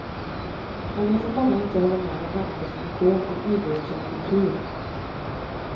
Jag vet att många inte håller med om denna definition av idrott som kultur.